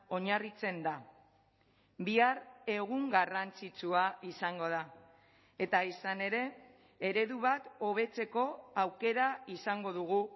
oinarritzen da bihar egun garrantzitsua izango da eta izan ere eredu bat hobetzeko aukera izango dugu